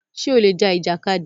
Ṣè ó lè já ìjàkádì?